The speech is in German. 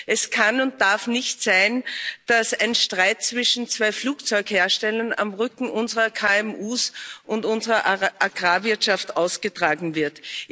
Es kann und darf nicht sein, dass ein Streit zwischen zwei Flugzeugherstellern auf dem Rücken unserer KMU und unserer Agrarwirtschaft ausgetragen wird.